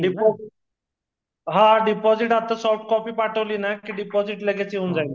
deposit हा deposit आता soft copy पाठवलीना कि डीपाजीट लगेच येऊन जाईल